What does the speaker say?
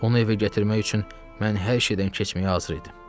Onu evə gətirmək üçün mən hər şeydən keçməyə hazır idim.